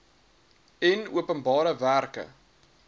en openbare werke